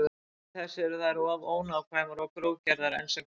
Til þess eru þær of ónákvæmar og grófgerðar enn sem komið er.